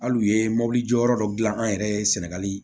Hali u ye mobili jɔyɔrɔ dɔ dilan an yɛrɛ ye sɛnɛgali